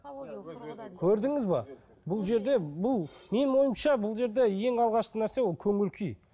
көрдіңіз бе бұл жерде бұл менің ойымша бұл жерде ең алғашқы нәрсе ол көңіл күй